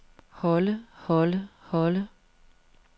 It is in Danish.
holde holde holde